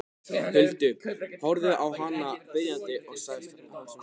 Huldu, horfði á hana biðjandi og sagði hásum rómi